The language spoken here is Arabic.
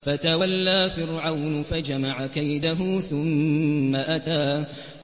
فَتَوَلَّىٰ فِرْعَوْنُ فَجَمَعَ كَيْدَهُ ثُمَّ أَتَىٰ